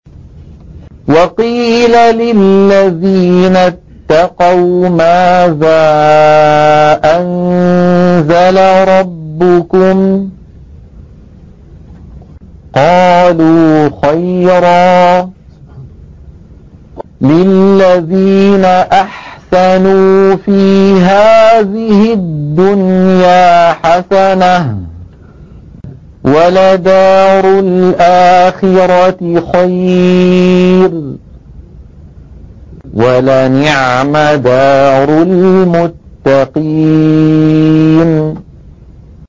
۞ وَقِيلَ لِلَّذِينَ اتَّقَوْا مَاذَا أَنزَلَ رَبُّكُمْ ۚ قَالُوا خَيْرًا ۗ لِّلَّذِينَ أَحْسَنُوا فِي هَٰذِهِ الدُّنْيَا حَسَنَةٌ ۚ وَلَدَارُ الْآخِرَةِ خَيْرٌ ۚ وَلَنِعْمَ دَارُ الْمُتَّقِينَ